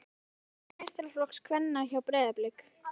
Hvað heitir þjálfari meistaraflokks kvenna hjá Breiðablik?